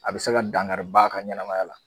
A bi se ka dangari ba ka ɲɛnamaya la